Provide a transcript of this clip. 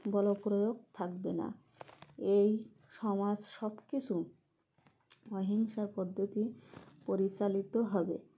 বলপ্রয়োগ থাকবে না এই সমাজ সবকিছু অহিংসা পদ্ধতি পরিচালিত হবে